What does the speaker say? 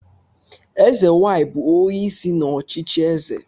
Eze nwanyị bụ onye isi n'ọchịchị eze